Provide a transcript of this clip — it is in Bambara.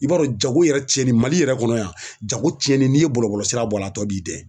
I b'a dɔn jago yɛrɛ cɛnni Mali yɛrɛ kɔnɔ yan jago cɛnni n'i ye bɔlɔbɔlɔsira bɔ a la tɔ b'i dɛn.